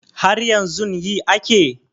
Haryanzun yi ake